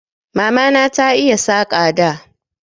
Mamana ta iya Saƙa da